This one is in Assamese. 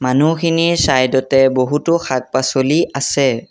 মানুহখিনিৰ চাইড তে বহুতো শাক-পাছলি আছে।